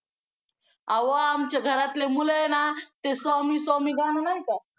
अहो आमच्या घरातले मुलं आहे ना ते स्वामी स्वामी गाणं नाही का